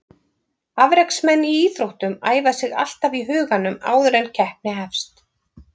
Afreksmenn í íþróttum æfa sig alltaf í huganum áður en keppni hefst.